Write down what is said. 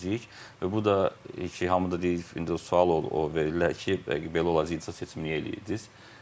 Və bu da ki, hamı da deyir ki, indi o sual verirlər ki, belə olacaq, icra seçim niyə eləyirdiz?